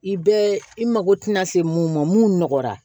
I bɛ i mako tina se mun ma mun nɔgɔyara